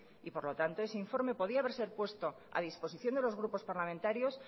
y por lo tanto ese informe podría haberse puesto a disposición de los grupos parlamentarios